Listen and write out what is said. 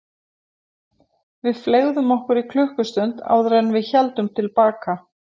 Við fleygðum okkur í klukkustund áður en við héldum til baka.